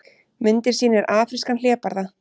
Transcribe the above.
Myndin sýnir afrískan hlébarða.